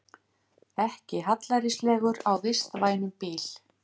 Ekki hallærislegur á vistvænum bíl